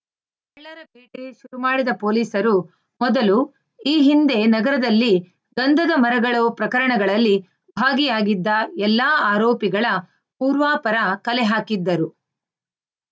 ಶುರು ಮಾಡಿದ ಪೊಲೀಸರು ಮೊದಲು ಈ ಹಿಂದೆ ನಗರದಲ್ಲಿ ಗಂಧದ ಮರಗಳವು ಪ್ರಕರಣಗಳಲ್ಲಿ ಭಾಗಿಯಾಗಿದ್ದ ಎಲ್ಲ ಆರೋಪಿಗಳ ಪೂರ್ವಾಪರ ಕಲೆ ಹಾಕಿದ್ದರು